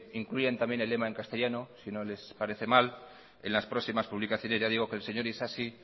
incluyan también el lema en castellano si no les parece mal en las próximas publicaciones ya digo que el señor isasi